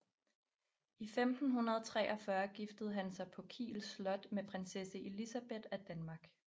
I 1543 giftede han sig på Kiel slot med prinsesse Elisabeth af Danmark